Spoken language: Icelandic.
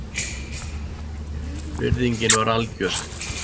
Virðingin var algjör